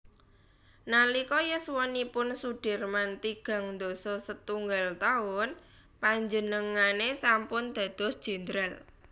Nalika yuswanipun Soedirman tigang dasa setunggal taun panjenengane sampun dados Jendral